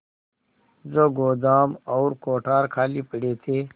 जो गोदाम और कोठार खाली पड़े थे